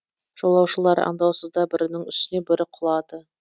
жолаушылар аңдаусызда бірінің үстіне бірі құлады